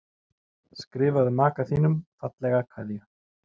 Skrifaðu maka þínum fallega kveðju.